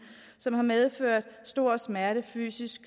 som har medført store smerte fysisk